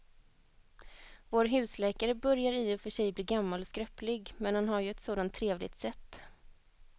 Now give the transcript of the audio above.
Vår husläkare börjar i och för sig bli gammal och skröplig, men han har ju ett sådant trevligt sätt!